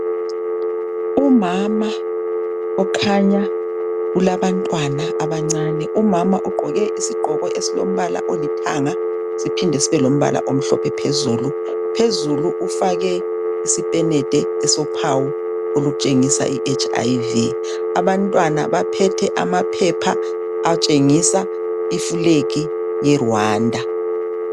Umama okhanya ulabantwana abancane , umama ugqoke isigqoko esilombala olithanga siphinde sibe lombala omhlophe phezulu , phezulu ufake isipenede esophawu okutshengisa I HIV , abantwana baphethe amaphepha atshengisa iflegi ye Rwanda